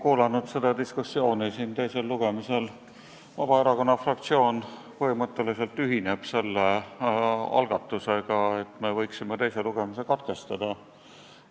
Kuulanud seda diskussiooni siin teisel lugemisel, Vabaerakonna fraktsioon põhimõtteliselt ühineb selle algatusega, et me võiksime teise lugemise katkestada.